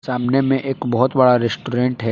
सामने में एक बहोत बड़ा रेस्टोरेंट है।